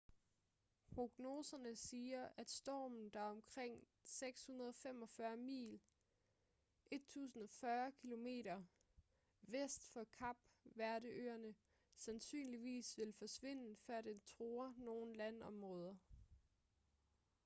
prognoserne siger at stormen der er omkring 645 mil 1040 km vest for kap verde-øerne sandsynligvis vil forsvinde før den truer nogen landområder